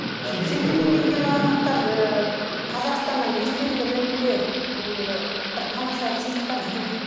шетелден келген азаматтар ыыы қазақстаннан естелік ретінде иии бір тамаша сыйлықтар іздейді